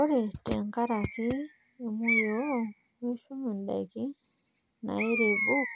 Ore tenkaraki emuyioo mishum ndaikin nairebuk